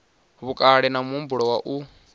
vhukale na muhumbulo wa u